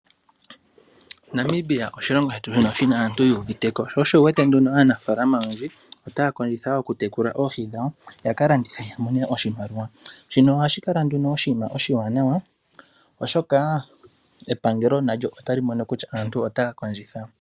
Namibia osho oshilongo shetu oshilongo shoka shina aantu mboka yu uviteko sho osho wu wete aanafalama oyendji otaa kondjitha okutekula oohi dhawo ya landithe ya mone oshimaliwa shino ohashi kala oshinima oshiwanawa oshoka epangelo nalyo otali mono kutya aantu otaa kondjitha.